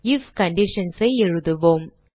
if conditions ஐ எழுதுவோம்